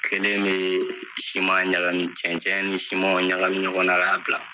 Kelen bee siman ɲagami, cɛncɛn ni simanw ɲagami ɲɔgɔn na k'a bila.